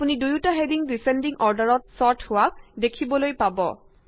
আপুনি দুয়ুটা heading descending অৰ্ডাৰত ছৰ্ট হোৱা দেখিবলৈ পাব